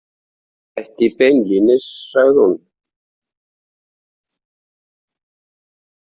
Ekki beinlínis, sagði hún.